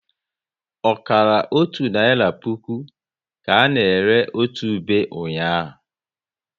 Ọkara otu naira puku ka na ere otu ube ụnyaahụ